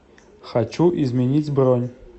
хочу изменить бронь